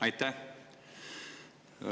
Aitäh!